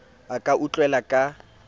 a ka a utlwela ka